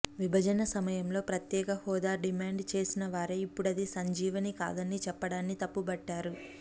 విభజన సమయంలో ప్రత్యేక హోదా డిమాండ్ చేసినవారే ఇప్పుడది సంజీవని కాదని చెప్పడాన్ని తప్పుబట్టారు